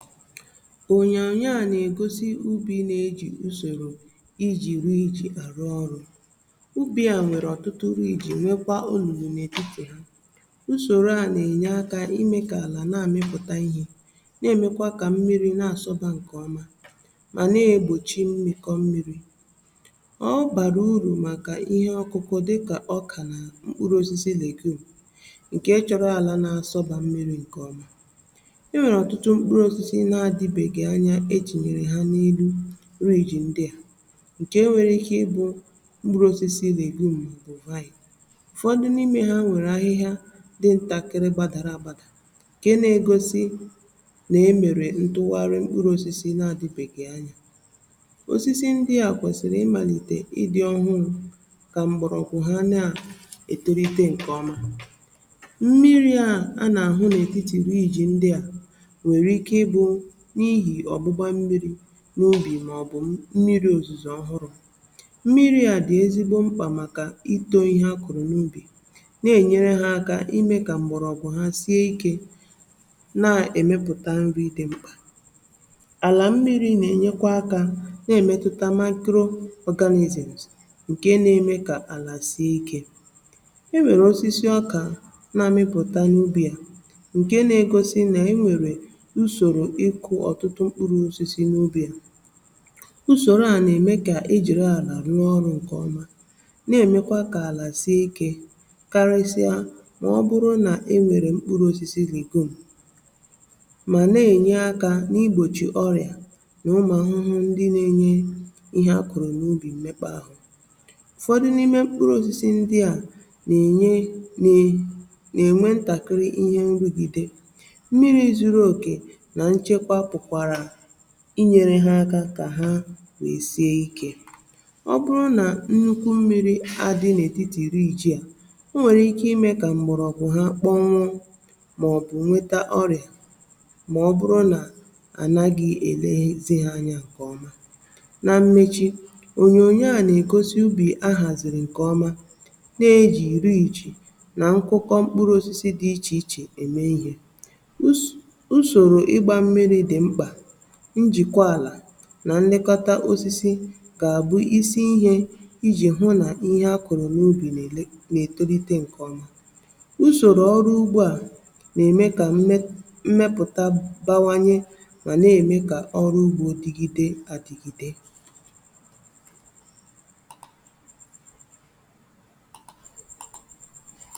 Onye a na-egosi ubi na-eji usoro iji rughiichi arụ ọrụ ubi. A nwere ọtụtụ uri iji nwekwaa onnunu n’etiti ha(um). Usoro a na-enye aka ime ka ala na-amịpụta ihe, na-emekwa ka mmiri na-asọba nke ọma, ma na-egbochi mmịkọ mmiri. Ọ bara uru maka ihe ọkụkụ dịka ọka na mkpụrụ osisi na-egbu oge, nke chọrọ ala na-asọba mmiri nke ọma. E ji nanyere ha n’ihu riji ndị a, nke nwere ike ịbụ mkpụrụ osisi na-azụ ma ọ bụ ùvanye. Ụfọdụ n’ime ha nwere ahịhịa dị ntakịrị gbadara abaada, nke na-egosi na e mere ntụwarị. Mkpụrụ osisi na-adị bekee anya, osisi ndị a kwesịrị ịmalite ịdị ọhụrụ ka mgbọrọgwụ ha na-etolite nke ọma. Mmiri a a na-ahụ n’etiti riji ndị a n’ubi maọbụ mmiri ozuzo ọhụrụ, mmiri a dị ezigbo mkpa maka ito ihe akụ n’ubi. Ọ na-enyere ha aka ime ka mgbọrọgwụ ọ bụ ha sie ike na-emepụta nri dị mkpa n’ala. Mmiri na-enye aka, na-emetụta makro-organics, nke na-eme ka ala sie ike. E nwekwara osisi ọka na-amịpụta n’ubi a. Ụfọdụ n’ime mkpụrụ osisi ndị a na-enye nri ma na-enyere ha aka ka ha wee sie ike. Ọ bụrụ na nnukwu mmiri dị n’etiti riji, o nwere ike ime ka mgbọrọgwụ ha kpọnwụ maọbụ nweta ọrịa, ma ọ bụrụ na a na-adịghị elezi ha anya nke ọma. Na mmechi, onyonyo a na-egosi ubi ahaziri nke ọma, na-eji riji iche na nkwụkọ mkpụrụ osisi dị iche iche eme ihe, na nlekọta osisi ka a bụ isi ihe iji hụ na ihe a kụrụ n’ubi na-etolite nke ọma. Usoro ọrụ ugbo a na-eme ka mmepụta bawanye, ma na-eme ka ọrụ ugbo dịgide adịgide.